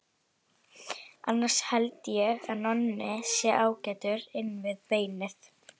Annars held ég að Nonni sé ágætur inn við beinið.